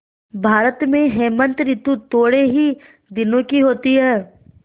भारत में हेमंत ॠतु थोड़े ही दिनों की होती है